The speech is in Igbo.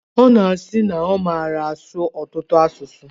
Ọ na-asi na ọ mara asụ ọtụtụ asụsụ.